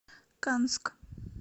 канск